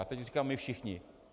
A teď říkám, my všichni.